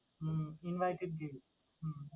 Hmm invited guest ।